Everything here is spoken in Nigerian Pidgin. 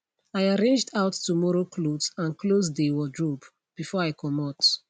i arranged out tomorrow cloth and close dey wardrobe before i comot